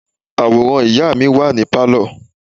Àwòrán ìyá mi wà ní Pálọ̀.